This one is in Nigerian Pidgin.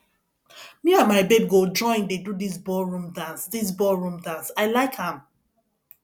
me and my babe go join dey do dis ballroom dance dis ballroom dance i like am